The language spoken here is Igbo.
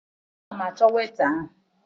Ana m achọ weita ahụ.